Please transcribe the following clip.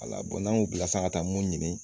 Ala n'an y'o bila sisan ka taa mun ɲini